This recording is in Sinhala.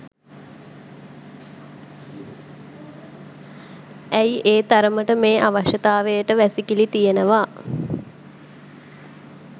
ඇයි ඒ තරමට මේ අවශ්‍යතාවයට වැසිකිලි තියනවා.